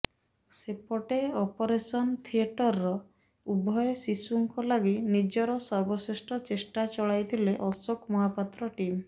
ସେପଟେ ଅପରେସନ ଥିଏଟରର ଉଭୟ ଶିଶୁଙ୍କ ଲାଗି ନିଜର ସର୍ବଶ୍ରେଷ୍ଠ ଚେଷ୍ଟା ଚଳାଇଥିଲେ ଅଶୋକ ମହାପାତ୍ରଙ୍କ ଟିମ୍